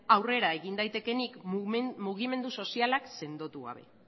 aurrera egin daitekeenik mugimendu sozialak sendotu gabe